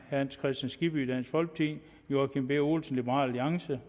hans kristian skibby joachim b olsen